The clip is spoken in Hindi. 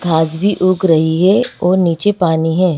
घास भी उग रही है और नीचे पानी है।